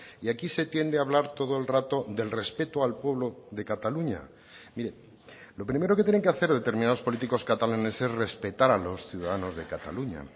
y aquí se tiende a hablar todo el rato del respeto al pueblo de cataluña mire lo primero que tienen que hacer determinados políticos catalanes es respetar a los ciudadanos de cataluña